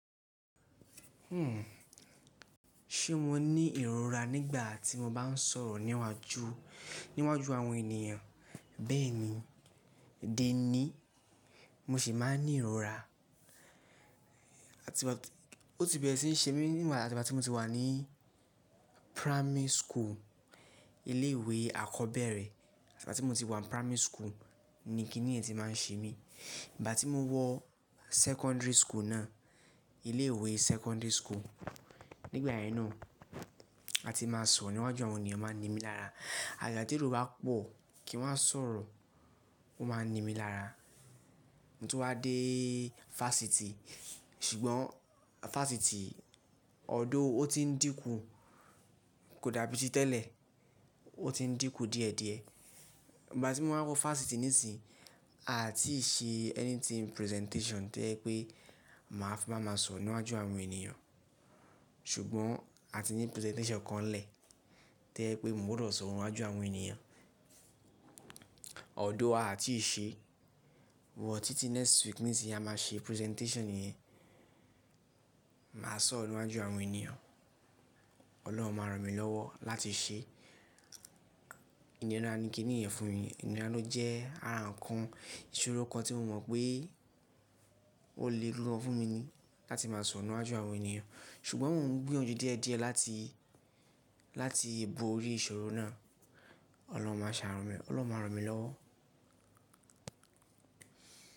Ṣé mo ní ìrora nígbà tí mo bá ń sọ̀rọ̀ níwájú, níwájú àwọn ènìyàn? Bẹ́ẹ̀ni, d'ení, mo sì máa ń ní ìrora. Àti ìgbà tí ó ti bẹ̀rẹ̀ sí ń ṣe mí, àti ìgbà tí mo ti wà ní primary school, ilé ìwé àkọ́bẹ̀rẹ̀. Àti ìgbà tí mo ti wà ní primary school ni kí nìyẹn ti máa ń ṣe mí. Ìgbà tí mo wọ secondary school náà, ilé ìwé secondary school, nígbà yẹn náà, a ti máa sọ̀rọ̀ níwájú àwọn ènìyàn, máa n ni mí lára. Ajaja tí èrò bá pọ̀ kí n máa sọ̀rọ̀, ó máa ni mí lára. Mo tún wá dé fásitì, ṣùgbọ́n fásitì although o ti ń dínkù, kò dàbí ti tẹ́lẹ̀, o ti ń dínkù díẹ̀díẹ̀. Ìgbà tí mo máa wọ fásiitì nísinyìí, a ò tí ì ṣe anything presentation to jẹ́ pé màá fi máa sọ̀rọ̀ níwájú àwọn ènìyàn. Ṣùgbọ́n a ti ní presentation kan nlẹ̀ to jẹ pé mo gbọdọ̀ sọ̀rọ̀ níwájú àwọn ènìyàn. Ọ̀dọ̀ a ò tí ì ṣe, wọ̀ títí next week nísinyìí a máa ṣe presentation yẹn. Màá sọ̀rọ̀ níwájú àwọn ènìyàn. Ọlọ́run máa ràn mí lọ́wọ́ láti ṣe. Ìnira ni kí nìyẹn fún mi. Ìníra ló jẹ́ ara nǹkan, ìṣòro kan tí mo mọ̀ pé ó le lo fún mi ni láti máa sun níwájú àwọn ènìyàn. Ṣùgbọ́n mò ń gbóyanjú díẹ̀díẹ̀ láti, láti èébú orí ìṣòro náà. Ọlọ́run máa sanu mi ọlọ́run máa ranmi lọ́wọ́.